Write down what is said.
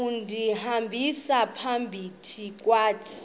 undihambisa phakathi kwazo